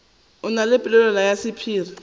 na le polelwana ya sephiri